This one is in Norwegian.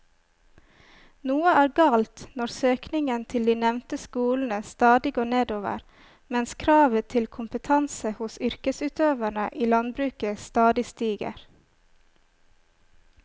Noe er galt når søkningen til de nevnte skolene stadig går nedover mens kravet til kompetanse hos yrkesutøverne i landbruket stadig stiger.